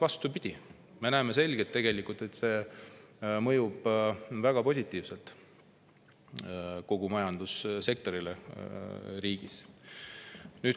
Vastupidi, me näeme selgelt, et see mõjub väga positiivselt kogu majandussektorile riigis.